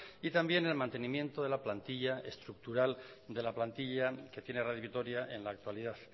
y también el mantenimiento de la plantilla estructural de la plantilla que tiene radio vitoria en la actualidad